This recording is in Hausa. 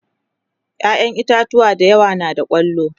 ƴaƴan itatauwa da yawa na da kwallo